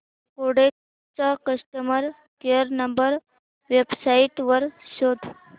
Kodak चा customer care number website वर शोध